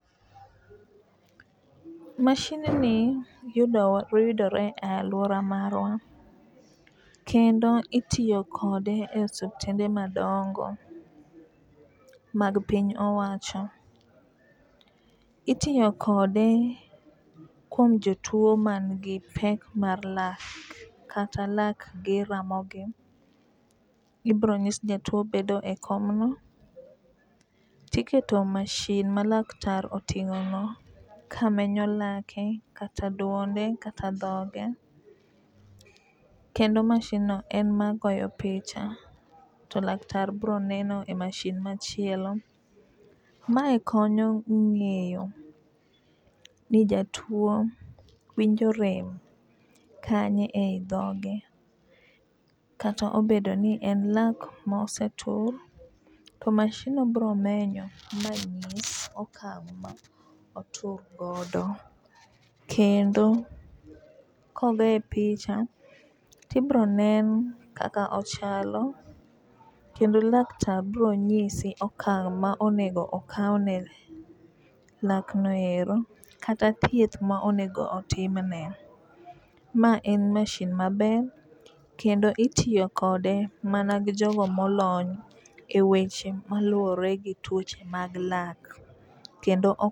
Mashindni yudowa yudore e aluora marwa kendo itiyo kode e suptende madongo mag piny owacho itiyo kode kuom jotuo man gi pek mar lak kata lak gi ramogi. Ibro nyis jatuo bedo e komno tiketo masin ma laktar oting'o no kamenyo lake kata duonde kata dhoge kendo masin no ema goyo picha to laktar bro neno e masin machielo. Mae konyo ng'eyo ni jatuo winjo rem kanye e dhoge kata obedo ni en lak mosetur to masin no bro menyo mang'is okang' ma otur godo. Kendo kogoye picha tibro nen kaka ochalo kendo laktar bro nyise okang' ma onego okaw ne lak noero kata thieth ma onego otimne. Ma en masin maber kendo itiyo kode mana gi jogo molony e weche maluwore gi tuoche mag lak kendo o.